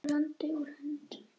Úr landi, úr höndum.